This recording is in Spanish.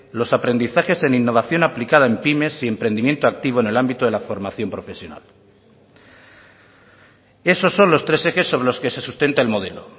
los aprendizajes en innovación aplicada en pymes y emprendimiento activo en el ámbito de la formación profesional esos son los tres ejes sobre los que se sustenta el modelo